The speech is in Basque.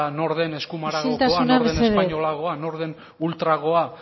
nor den eskumaragokoa nor den espainolagoa isiltasuna mesedez nor den ultragoa